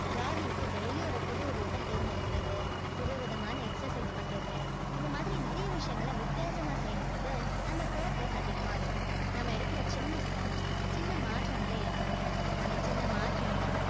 jogging க்கு daily யும் ஒரு புது route அ தேர்ந்தெடுக்கிறது புதுவிதமான exercise பண்றது இந்த மாதிரி நிறைய விஷயங்களை வித்தியாசமா செய்யும்போது நம்ம focus அதிகமா இருக்கும் நாம எடுக்குற சின்ன step சின்ன மாற்றங்களை ஏற்படுத்தும் அந்த சின்ன மாற்றங்கள்